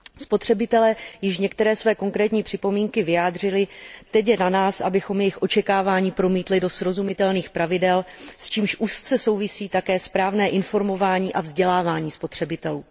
Spotřebitelé již některé své konkrétní připomínky vyjádřili, teď je na nás, abychom jejich očekávání promítli do srozumitelných pravidel, s čímž úzce souvisí také správné informování a vzdělávání spotřebitelů.